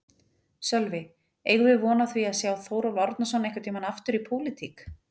Sölvi: Eigum við von á því að sjá Þórólf Árnason einhvern tímann aftur í pólitík?